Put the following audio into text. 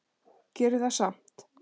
Gerir það samt.